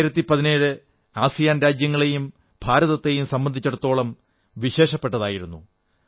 2017 ASEAN രാജ്യങ്ങളെയും ഭാരതത്തെയും സംബന്ധിച്ചിടത്തോളം വിശേഷപ്പെട്ടതായിരുന്നു